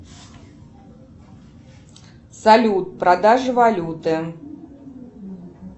салют продажа валюты